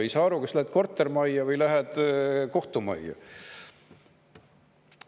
Ei saa aru, kas lähed kortermajja või lähed kohtumajja.